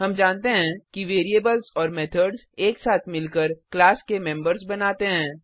हम जानते हैं कि वेरिएबल्स और मेथड्स एक साथ मिलकर क्लास के मेम्बर्स बनाते हैं